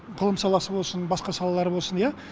ғылым саласы болсын басқа салалар болсын иә